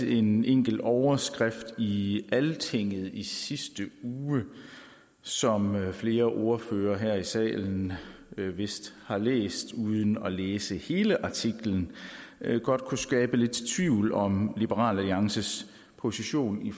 en enkelt overskrift i altinget i sidste uge som flere ordførere her i salen vist har læst uden at læse hele artiklen godt kunne skabe lidt tvivl om liberal alliances position i